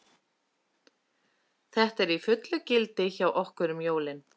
Þetta er í fullu gildi hjá okkur um jólin.